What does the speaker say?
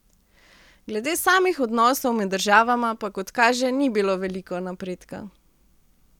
Glede samih odnosov med državama pa kot kaže ni bilo veliko napredka.